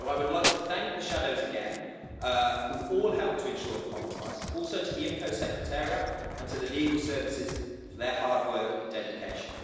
So I would like to thank the shadows again, who all helped to ensure the compromise, also the IMCO Secretariat and the Legal Services for their hard work and dedication.